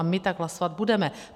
A my tak hlasovat budeme.